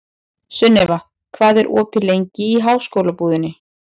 Sunniva, hvað er opið lengi í Háskólabúðinni?